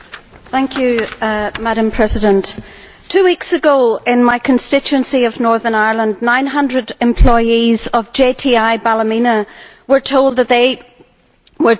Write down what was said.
Madam President, two weeks ago in my constituency of Northern Ireland, 900 employees of JTI Ballymena were told that they were to lose their jobs.